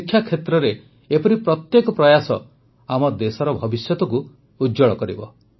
ଶିକ୍ଷା କ୍ଷେତ୍ରରେ ଏପରି ପ୍ରତ୍ୟେକ ପ୍ରୟାସ ଆମ ଦେଶର ଭବିଷ୍ୟତକୁ ଉଜ୍ଜ୍ୱଳ କରିବ